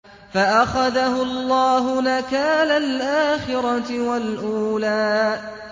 فَأَخَذَهُ اللَّهُ نَكَالَ الْآخِرَةِ وَالْأُولَىٰ